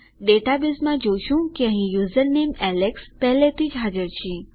ડેટાબેઝમાં જોશું કે અહીં યુઝરનેમ એલેક્સ પહેલાથી જ હાજર છે